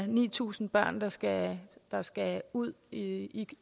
ni tusind børn der skal der skal ud i i